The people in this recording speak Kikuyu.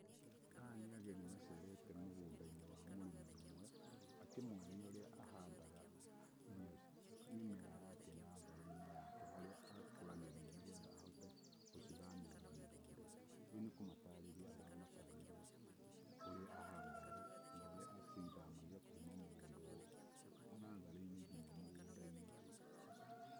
Aya nĩ ageni macerete mũgũnda-inĩ wa mũrĩmi ũmwe akĩmonia ũrĩa ahandaga mĩmera yake natharĩ-inĩ yake harĩa akũragĩria nĩ getha ahote gũcithamĩria mũgũnda. Rĩu nĩ kũmatarĩria aramatarĩria ũrĩa ahandaga na ũrĩa acithamagia kuma mũgũnda ũyũ, natharĩ-inĩ nginya mũgũnda-inĩ.